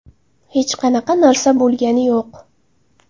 Hech qanaqa narsa bo‘lgani yo‘q.